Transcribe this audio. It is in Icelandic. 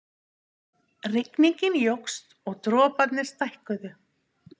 Rigningin jókst og droparnir stækkuðu.